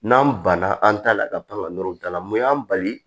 N'an banna an ta la ka pan ka nɔrɔ da la mun y'an bali